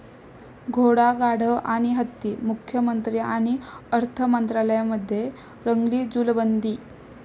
घोडा, गाढव आणि हत्ती, मुख्यमंत्री आणि अर्थमंत्र्यांमध्ये रंगली जुलबंदी!